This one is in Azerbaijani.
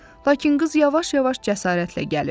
Lakin qız yavaş-yavaş cəsarətlə gəlirdi.